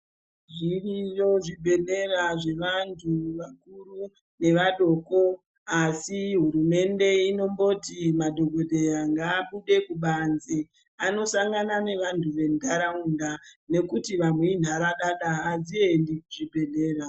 Zviriyo zvibhedhlera zvevantu vakuru ngevadoko asi hurumende inomboti madhokodheya ngabude kubanze anosangana nevandu vendaraunda ngekuti vamweni iharadada hadziendi kuzvibhedhlera.